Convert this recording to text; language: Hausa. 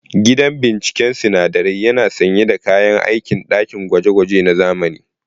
Gidan binciken sinadarai yana sanye da kayan aikin ɗakin gwaje-gwaje na zamani.